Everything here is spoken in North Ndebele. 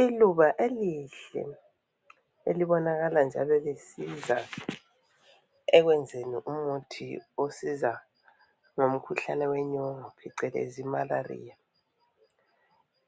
Iluba elihle elibonakala njalo lisiza ekwenzeni umuthi osiza ngomkhuhlane wenyongo phecelezi imalariya,